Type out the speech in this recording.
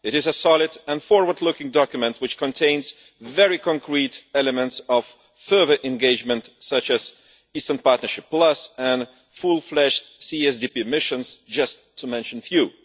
It is a solid and forward looking document which contains very concrete elements of further engagement, such as Eastern Partnership Plus and fully fledged CSDP missions, just to mention a few.